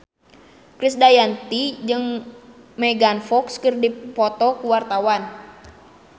Krisdayanti jeung Megan Fox keur dipoto ku wartawan